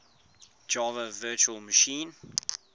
java virtual machine